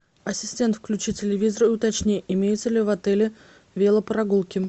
ассистент включи телевизор уточни имеются ли в отеле велопрогулки